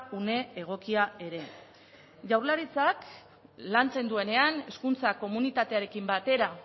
une egokia ere jaurlaritzak lantzen duenean hezkuntza komunitatearekin batera